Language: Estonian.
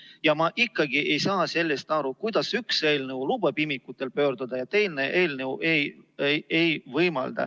Ja ma ikkagi ei saa aru sellest, kuidas üks eelnõu lubab imikutel pöörduda ja teine eelnõu ei luba.